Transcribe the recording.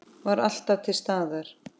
Var alltaf til staðar.